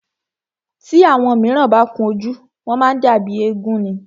Tí àwọn míràn bá kun ojú, wọ́n má ń dàbí éégún ni.